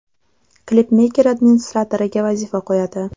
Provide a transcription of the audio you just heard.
Klipmeyker administratoriga vazifa qo‘yadi.